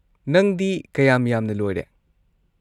ꯅꯪꯗꯤ ꯀꯌꯥꯝ ꯌꯥꯝꯅ ꯂꯣꯏꯔꯦ?